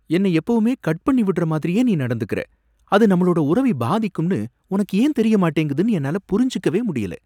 என்னை எப்பவுமே கட் பண்ணி விடுற மாதிரியே நீ நடந்துக்குற, அது நம்மளோட உறவை பாதிக்கும்னு உனக்கு ஏன் தெரிய மாட்டேங்குதுன்னு என்னால புரிஞ்சுக்கவே முடியல.